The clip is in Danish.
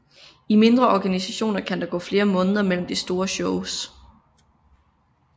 I mindre organisationer kan der gå flere måneder mellem de store shows